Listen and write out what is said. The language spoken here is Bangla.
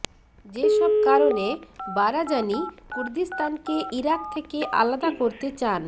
যেসব কারণে বারাজানি কুর্দিস্তানকে ইরাক থেকে আলাদা করতে চান